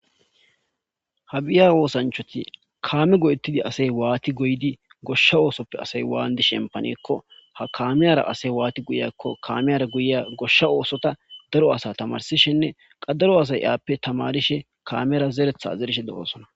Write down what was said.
Kabiya osanchchatti kabiya go'ettidi waththi goyidi goshsha ossoppe asay wannidi shemppanako ha kammiyara guyiya goshsha osotta daro asatta tamarsishinne ha daro asay aape tamarishshe meran zereththa zerishshe de'ossona.